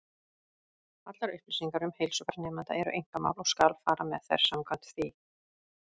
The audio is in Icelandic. Allar upplýsingar um heilsufar nemenda eru einkamál, og skal fara með þær samkvæmt því.